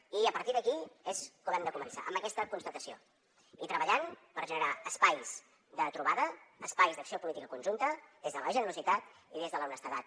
i a partir d’aquí és com hem de començar amb aquesta constatació i treballant per generar espais de trobada espais d’acció política conjunta des de la generositat i des de l’honestedat